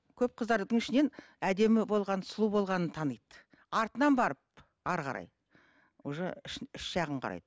көп қыздардың ішінен әдемі болған сұлу болғанын таниды артынан барып әрі қарай уже іш іш жағын қарайды